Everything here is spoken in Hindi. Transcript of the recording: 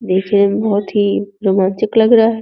देखने में बोहोत ही रोमांचिक लग रहा हैं।